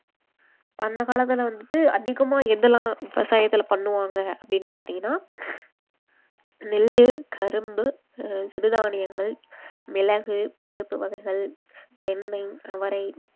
அந்த காலத்துல வந்துட்டு அதிகமா எதெல்லாம் விவசாயத்தில பண்ணுவாங்க அப்படின்னு பாத்தீங்கன்னா நெல்லு கரும்பு அஹ் சிறு தானியங்கள் மிளகு பருப்பு வகைகள் தென்னை அவரை